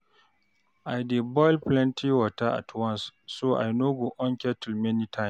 I dey boil plenty water at once, so I no go on kettle many times.